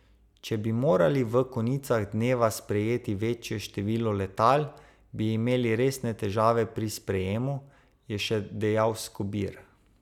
Če bi morali v konicah dneva sprejeti večje število letal, bi imeli resne težave pri sprejemu, je še dejal Skobir.